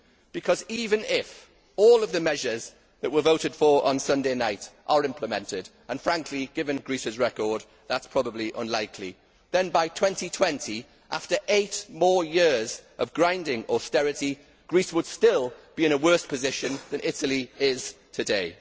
Because even if all of the measures that were voted for on Sunday night are implemented and, given Greece's record, that is probably unlikely then by 2020, after eight more years of grinding austerity, Greece would still be in a worse position than Italy is today.